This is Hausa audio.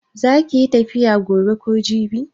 Za kiyi tafiya gobe ko jibi?